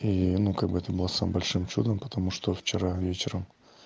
ну как бы это было самым большим чудом потому что вчера вечером